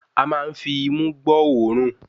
A máa ń fi imú gbọ́ òórùn